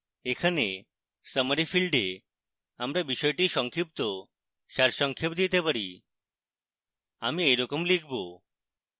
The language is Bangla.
এখানে summary ফীল্ডে আমরা বিষয়টির সংক্ষিপ্ত সারসংক্ষেপ দিতে পারি আমি এইরকম লিখব